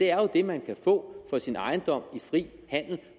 er jo det man kan få for sin ejendom i fri handel